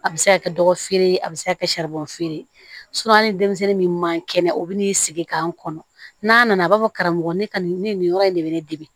A bɛ se ka kɛ dɔgɔfirin ye a bɛ se ka kɛ feere an ni denmisɛnnin min man kɛnɛ o bɛ n'i sigi k'an kɔnɔ n'a nana a b'a fɔ karamɔgɔ ne ka nin yɔrɔ in de bɛ ne dege